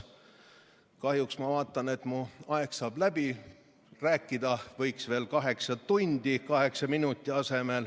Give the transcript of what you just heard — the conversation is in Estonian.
Kahjuks ma vaatan, et mu aeg saab läbi, ehkki rääkida oleks kaheksa minuti asemel veel kaheksa tundi.